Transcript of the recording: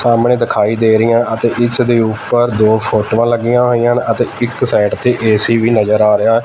ਸਾਹਮਣੇ ਦਿਖਾਈ ਦੇ ਰਹੀਆਂ ਅਤੇ ਇਸਦੇ ਊਪਰ ਦੋ ਫ਼ੋਟੋਆਂ ਲੱਗੀ ਹੋਈਆਂ ਹਨ ਅਤੇ ਇੱਕ ਸਾਈਡ ਤੇ ਏ_ਸੀ ਵੀ ਨਜ਼ਰ ਆ ਰਿਹਾ ਹੈ।